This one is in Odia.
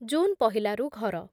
ଜୁନ୍ ପହିଲାରୁ ଘର